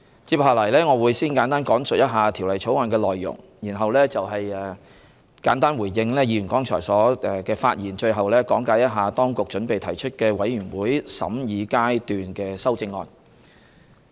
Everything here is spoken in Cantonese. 接下來，我會先簡單講述《條例草案》的內容，然後簡單回應議員剛才的發言，最後講解當局準備提出的委員會審議階段修正案。